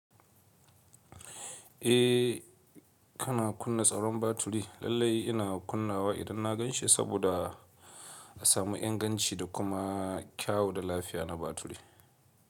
Eh kana kunna tsaron baturi. Lallai ina kunnawa idan na gan shi saboda a samu inganci da kuma kyau da lafiya na baturi.